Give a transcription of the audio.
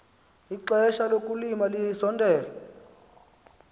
ixesha lokulima lisondele